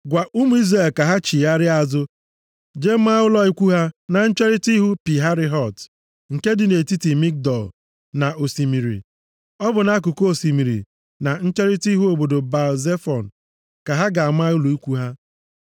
“Gwa ụmụ Izrel ka ha chigharịa azụ jee maa ụlọ ikwu ha na ncherita ihu Pi Hahirot, nke dị nʼetiti Migdol na osimiri. Ọ bụ nʼakụkụ osimiri, na ncherita ihu obodo Baal-Zefọn ka ha ga-ama ụlọ ikwu ha.